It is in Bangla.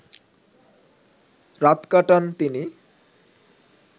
রাত কাটান তিনি